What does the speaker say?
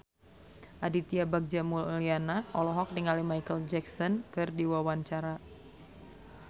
Aditya Bagja Mulyana olohok ningali Micheal Jackson keur diwawancara